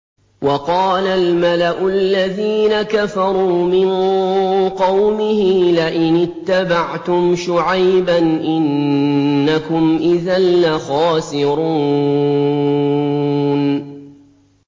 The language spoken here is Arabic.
وَقَالَ الْمَلَأُ الَّذِينَ كَفَرُوا مِن قَوْمِهِ لَئِنِ اتَّبَعْتُمْ شُعَيْبًا إِنَّكُمْ إِذًا لَّخَاسِرُونَ